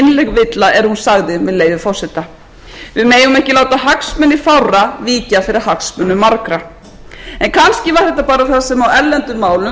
villa er hún sagði með leyfi forseta við megum ekki láta hagsmuni fárra víkja fyrir hagsmunum margra en kannski var þetta bara þetta það sem á erlendum málum